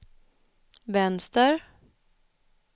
vänster